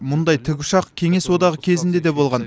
мұндай тікұшақ кеңес одағы кезінде де болған